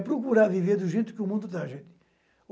É procurar viver do jeito que o mundo dá, gente.